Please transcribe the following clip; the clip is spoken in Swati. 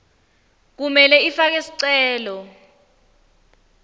kumele ifake sicelo